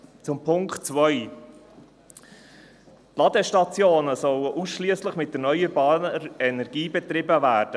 Zur Ziffer 2: Die Ladestationen sollen ausschliesslich mit erneuerbarer Energie betrieben werden.